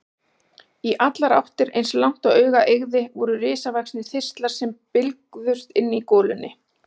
Í allar áttir, eins langt og augað eygði, voru risavaxnir þistlar sem bylgjuðust í golunni.